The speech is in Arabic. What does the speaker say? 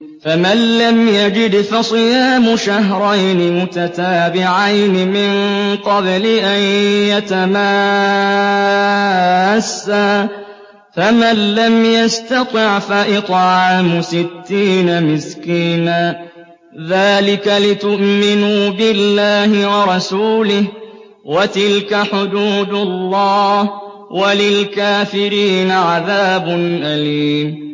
فَمَن لَّمْ يَجِدْ فَصِيَامُ شَهْرَيْنِ مُتَتَابِعَيْنِ مِن قَبْلِ أَن يَتَمَاسَّا ۖ فَمَن لَّمْ يَسْتَطِعْ فَإِطْعَامُ سِتِّينَ مِسْكِينًا ۚ ذَٰلِكَ لِتُؤْمِنُوا بِاللَّهِ وَرَسُولِهِ ۚ وَتِلْكَ حُدُودُ اللَّهِ ۗ وَلِلْكَافِرِينَ عَذَابٌ أَلِيمٌ